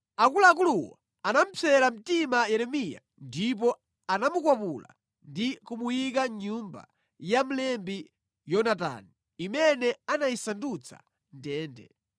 Akuluakuluwo anamupsera mtima Yeremiya ndipo anamukwapula ndi kumuyika mʼnyumba ya mlembi Yonatani, imene anayisandutsa ndende.